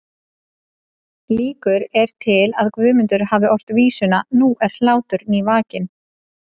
Líkur eru til að Guðmundur hafi ort vísuna Nú er hlátur nývakinn